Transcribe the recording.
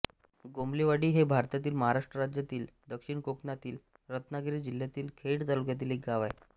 गोमलेवाडी हे भारतातील महाराष्ट्र राज्यातील दक्षिण कोकणातील रत्नागिरी जिल्ह्यातील खेड तालुक्यातील एक गाव आहे